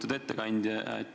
Lugupeetud ettekandja!